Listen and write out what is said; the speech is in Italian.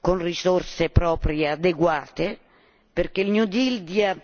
con risorse proprie adeguate perché il New Deal dia